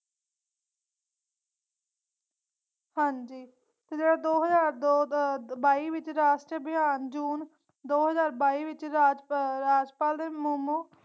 ਹਾਂਜੀ ਤੇ ਦੋ ਹਜ਼ਾਰ ਦੋ ਦੇ ਬਾਈ ਵਿਚ ਰਾਸ਼ਟਰ ਅਭਿਆਨ ਜੂਨ ਦੋ ਹਜ਼ਾਰ ਬਾਈ ਵਿਚ ਰਾਜ ਰਾਜਪਾਲ ਦੇ